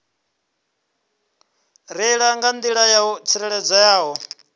reila nga nḓila yo tsireledzeaho